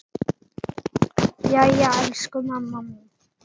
Jæja elsku mamma mín.